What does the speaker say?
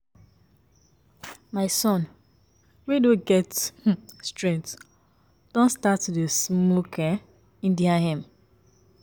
Mama abeg I no wan plait my hair again na only wig you go dey buy for me